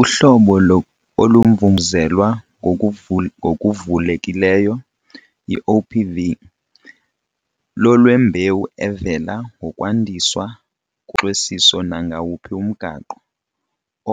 Uhlobo olumvumvuzelwa ngokuvulekileyo, i-OPV, lolwembewu evela ngokwandiswa ngoxwesiso nangawuphi umgaqo,